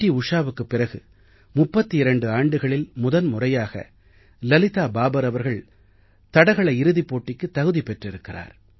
உஷாவுக்குப் பிறகு 32 ஆண்டுகளில் முதன் முறையாக லலிதா பாபர் அவர்கள் ட்ராக் பீல்ட் இறுதிப் போட்டிக்கு தகுதி பெற்றிருக்கிறார்